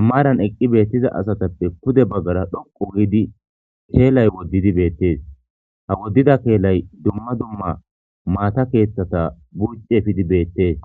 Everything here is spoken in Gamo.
ammaaran eqqi beettiza asatappe pude baggara dhoqu wuydi keelay woddidi beettees ha woddida keelay dumma dumma maata keeththata buucci efidi beettees.